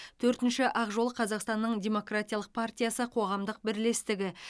төртінші ақ жол қазақстанның демократиялық партиясы қоғамдық бірлестігі